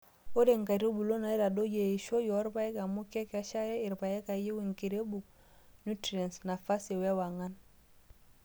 Ore nkaitubulu neitadoyio eishioi oorpaek amu kekeshare irpaek eyieu enkirebuk, nutriense, nafasii wewang'an.